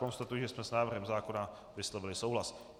Konstatuji, že jsme s návrhem zákona vyslovili souhlas.